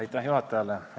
Aitäh juhatajale!